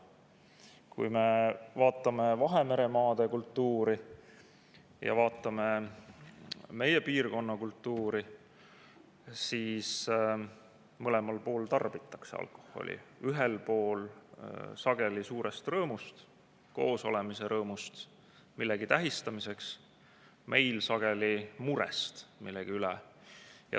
Kui me vaatame Vahemere maade kultuuri ja meie piirkonna kultuuri, siis mõlemal pool tarbitakse alkoholi: ühel pool sageli suurest rõõmust, koosolemise rõõmust, millegi tähistamiseks, meil sageli murest millegi üle.